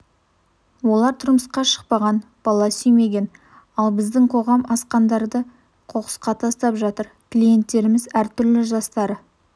олар тұрмысқа шықпаған бала сүймеген ал біздің қоғам асқандарды қоқысқа тастап жатыр клиенттеріміз әр түрлі жастары